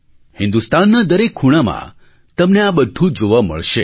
હિન્દુસ્તાનના દરેક ખૂણામાં તમને આ બધું જોવા મળશે